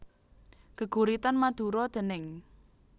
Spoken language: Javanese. Geguritan Madura déning